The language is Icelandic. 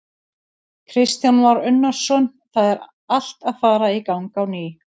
Kristján Már Unnarsson: Það er allt að fara í gang á ný?